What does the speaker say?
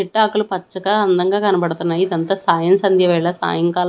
చెట్టాకులు పచ్చగా అందంగా కనపడతన్నయి ఇదంతా సాయం సంధ్య వేల సాయంకాలం--